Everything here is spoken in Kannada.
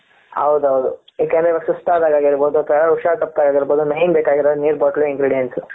ಹೌದು ಹೌದು ಯಾಕೆ ಅಂದ್ರೆ ಇವಾಗ ಸುಸ್ತಾದಾಗ ಆಗಿರಬಹುದು ಅಥವಾ ಯಾರೋ ಹುಷಾರ್ ತಪ್ಪದಾಗ ಆಗಿರಬಹುದು main ಬೇಕಾಗಿರೋದೇ ನೀರು bottle ingredients.